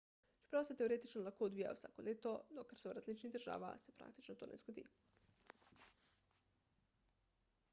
čeprav se teoretično lahko odvijajo vsako leto dokler so v različnih državah se praktično to ne zgodi